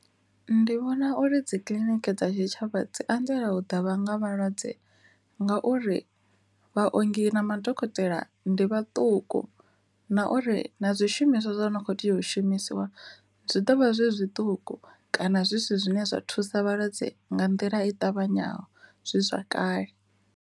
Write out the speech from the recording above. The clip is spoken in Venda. Ndi vhona uri dzi kiḽiniki dza tshitshavha dzi anzela u ḓa vha nga malwadze ngauri vhaongi na madokotela ndi vhaṱuku, na uri u na zwishumiswa zwo no kho tea u shumisiwa zwi ḓovha zwi zwiṱuku kana zwisi zwine zwa thusa vhalwadze nga nḓila i ṱavhanyaho zwi zwa kale.